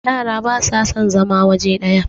yara ba sa son zama waje daya